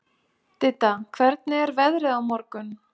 Didda, hvernig er veðrið á morgun?